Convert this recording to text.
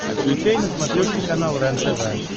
включай на смотрешке канал рентв